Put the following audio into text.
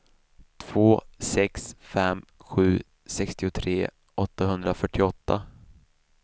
två sex fem sju sextiotre åttahundrafyrtioåtta